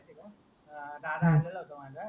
दादा आलेला होता माझा